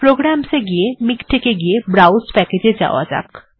programs এ গিয়ে MiKTeX এ গিয়ে ব্রাউস্ প্যাকেজ্ এ যাওয়া যাক